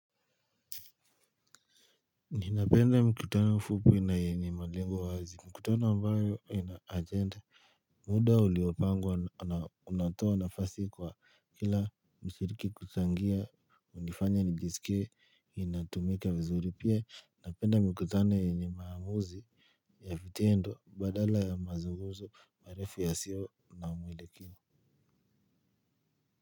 Ninapenda mkutano mfupi na yenye malengo wazi. Mkutana ambayo ina ajende. Muda uliopangwa na unatoa nafasi kwa kila mshiriki kuchangia nifanye nijisikie inatumika vizuri pia. Napenda mkutano yenye maamuzi ya vitendo badala ya mazungumzo barefu yasiyo na mwielekeo.